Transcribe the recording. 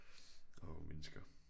Åh mennesker